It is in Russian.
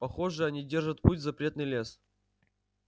похоже они держат путь в запретный лес